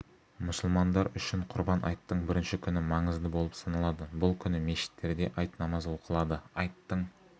мұсылмандар үшін құрбан айттың бірінші күні маңызды болып саналады бұл күні мешіттерде айт намазы оқылады айттың